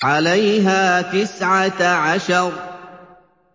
عَلَيْهَا تِسْعَةَ عَشَرَ